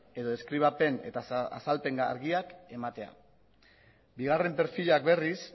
edo deskribapen eta azalpen argiak ematea bigarren profilak berriz